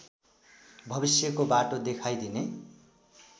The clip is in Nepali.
भविष्यको बाटो देखाइदिने